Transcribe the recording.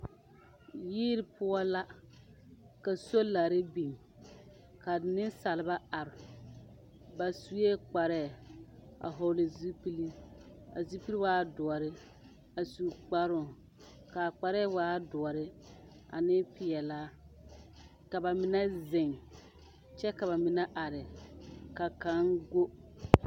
Yiri poɔ la, ka solara biŋ ka nensaalba are ,ba suɛ kparɛɛ a vɔgle zupelee a zupelee waa dɔre a su kparo kaa kparre waa dɔre ane peɛlaa ka ba mine zeŋ kyɛ ka ba mine are ka kaŋ gɔ.